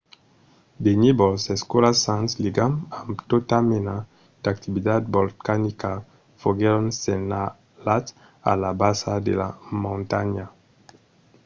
de nívols escuras sens ligam amb tota mena d'activitat volcanica foguèron senhalats a la basa de la montanha